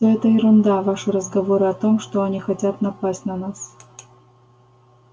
всё это ерунда ваши разговоры о том что они хотят напасть на нас